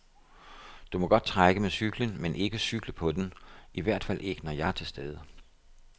Du må godt trække med cyklen men ikke cykle på den, i hvert fald ikke når jeg er til stede.